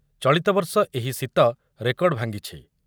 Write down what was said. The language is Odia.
ଚଳିତ ବର୍ଷ ଏହି ଶୀତ ରେକର୍ଡ଼ ଭାଙ୍ଗିଛି ।